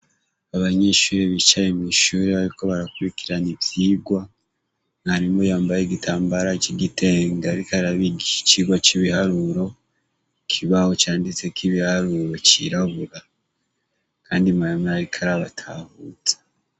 Abanyishuri bicaye mw'ishuri bayuko barakurikirana ivyirwa, mwarimu yambaye igitambara c'igitenga, ariko arabiigiki cirwa c'ibiharuro kibaho, canditse k'ibiharuro cirabura, kandi mayama arika arabatahuza.